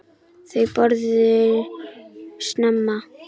Þau borðuðu snemma.